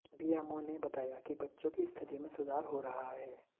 BMO ने बताया कि बच्चों की स्थिति में सुधार हो रहा है